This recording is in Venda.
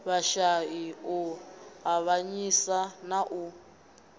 vhashai u avhanyisa na u